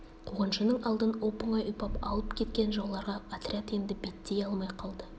қуғыншының алдын оп-оңай ұйпап алып кеткен жауларға отряд енді беттей алмай қалды